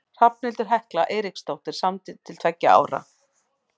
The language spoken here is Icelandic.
Hrafnhildur Hekla Eiríksdóttir samdi til tveggja ára.